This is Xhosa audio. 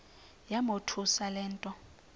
yamothusa le nto